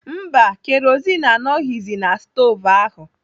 Mba, kerozin anọghizi na stovu ahụ.